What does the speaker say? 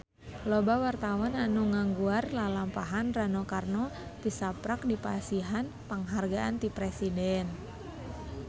Loba wartawan anu ngaguar lalampahan Rano Karno tisaprak dipasihan panghargaan ti Presiden